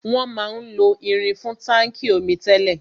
Wọn máa ń lo irin fún táńkì omi tẹ́lẹ̀.